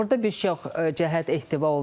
Burda bir çox cəhət ehtiva olunur.